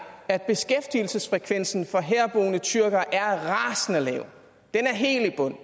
at beskæftigelsesfrekvensen for herboende tyrkere er rasende lav den er helt i bund